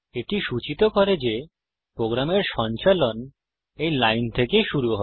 এটি সূচিত করে যে প্রোগ্রামের সঞ্চালন এই লাইন থেকে শুরু হয়